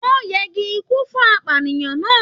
Wọn yẹgi ikú fún apànìyàn náà.